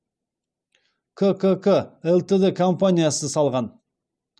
ккк лтд компаниясы салған